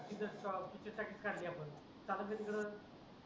तिथंच स्टॉल त्याच्यासाठी चाललं आहे सगळं चालू दे तिकडे